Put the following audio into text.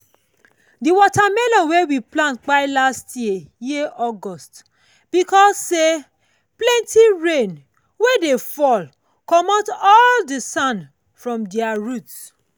the watermelon wey we plant kpai last year year august because say plenty rain wey dey fall commot all the sand for ther root.